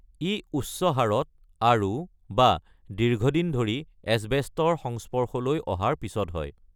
ই উচ্চ হাৰত আৰু/বা দীৰ্ঘদিন ধৰি এছবেষ্টছৰ সংস্পৰ্শলৈ অহাৰ পিছত হয়।